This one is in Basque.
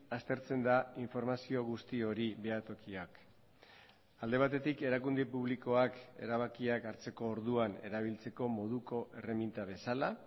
aztertzen da informazio guzti hori behatokiak alde batetik erakunde publikoak erabakiak hartzeko orduan erabiltzeko moduko erreminta bezala